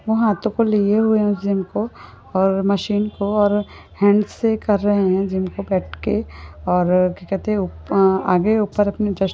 वो हाथो पर लिए हुए है उस जिम को और मशीन को और हैंड्स से कर रह है जिम को बैठ के और क्या कहते है उप-आह आगे उपर अपनी--